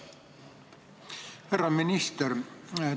Härra minister!